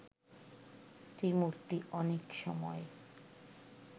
ত্রিমূর্তি অনেক সময়